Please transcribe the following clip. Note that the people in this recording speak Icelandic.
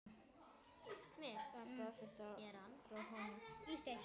Það stafaði frá honum hlýju.